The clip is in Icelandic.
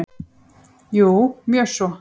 Jú, mjög svo.